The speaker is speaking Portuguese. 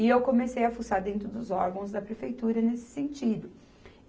E eu comecei a fuçar dentro dos órgãos da prefeitura nesse sentido.